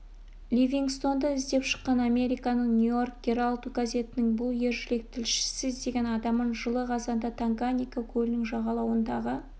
ливингстонды іздеп шыққан американың нью-йорк геральд газетінің бұл ержүрек тілшісі іздеген адамын жылы қазанда танганьика көлінің жағалауындағы